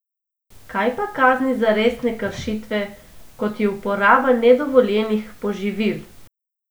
Kaj pa kazni za resne kršitve, kot je uporaba nedovoljenih poživil?